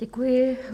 Děkuji.